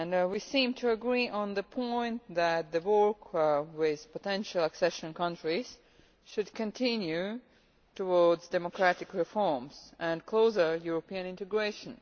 We seem to agree on the point that the work with potential accession countries should continue towards democratic reforms and closer European integration.